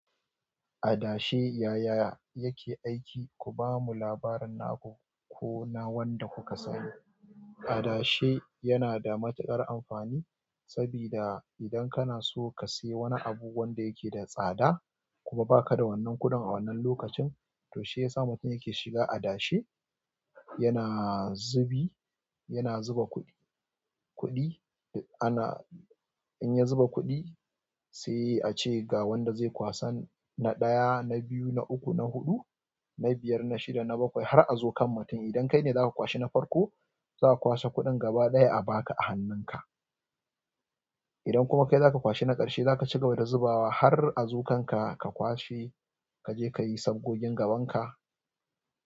Adashe yaya yake aiki? Ku bamu labarin naku ko na wanda kuka sani. Adashe yana da matuƙar amfani sabida idan kana so ka sayi wani abu wanda yake da tsada kuma ba ka da wannan kuɗin a wannan lokacin, to shi ya sa mutum yake shiga adashe. Yana zubi, yana zuba kuɗi, kuɗi ana, in ya zuba kuɗi sai a ce ga wanda zai kwasan, na ɗaya, na biyu, na uku, na huɗu, na biyar, na shida, na bakwai har a zo kan mutum, idan kai ne za ka kwashi na farko, za a kwasa kuɗin gaba ɗaya a ba ka a hannunka. Idan kuma kai za ka kwashi na ƙarshe, za ka ci gaba da zubawa har a zo kan ka, ka kwashe, ka je ka yi sabgogin gaban ka.